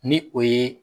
Ni o ye